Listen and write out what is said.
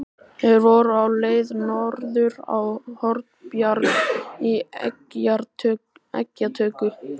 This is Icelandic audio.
Þeir voru á leið norður á Hornbjarg í eggjatöku.